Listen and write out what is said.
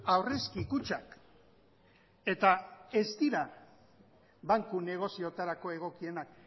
aurrezki kutxak eta ez dira banku negozioetarako egokienak